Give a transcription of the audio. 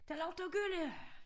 Der lugter af gylle